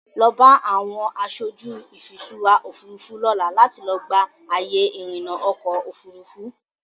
Lọ bá àwọn aṣojú ìfiṣúra Òfurufú lọ́la láti lọ gba àyè ìrìnà ọkọ Òfurufú.